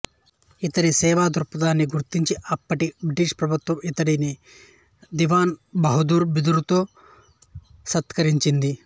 ఇతడి సేవాదృక్పథాన్ని గుర్తించి అప్పటి బ్రిటిష్ ప్రభుత్వం ఇతడిని దివాన్ బహదూర్ బిరుదుతో సత్కరించింది